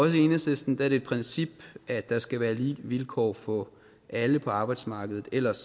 i enhedslisten er det et princip at der skal være lige vilkår for alle på arbejdsmarkedet ellers